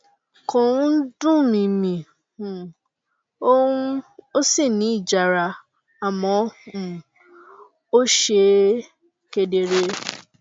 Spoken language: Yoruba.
kò um dùn mí mi um ò um ò sì ní ìjara àmọ um ó ṣe kedere